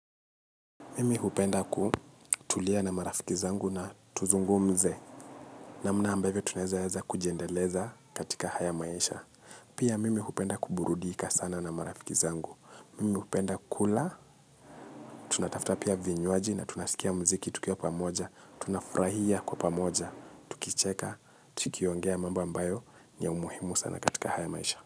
Mimi hupenda kutulia na marafiki zangu na tuzungumze namna ambavyo tunaeza weza kujiendeleza katika haya maisha. Pia mimi hupenda kuburudika sana na marafiki zangu. Mimi hupenda kula, tunatafta pia vinywaji na tunasikia mziki tukiwa pamoja. Tunafurahia kwa pamoja, tukicheka, tukiongea mambo ambayo ni ya umuhimu sana katika haya maisha.